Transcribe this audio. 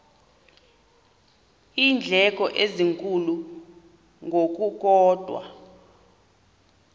iindleko ezinkulu ngokukodwa